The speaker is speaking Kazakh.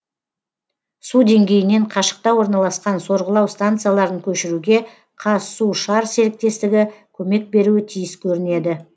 су деңгейінен қашықта орналасқан сорғылау станцияларын көшіруге қазсушар серіктестігі көмек беруі тиіс көрінеді